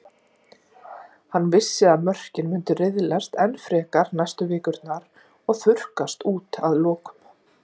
Hann vissi að mörkin myndu riðlast enn frekar næstu vikurnar og þurrkast út að lokum.